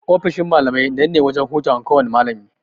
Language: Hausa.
Ofishin malamai nan ne wajan hutawan kowana malami.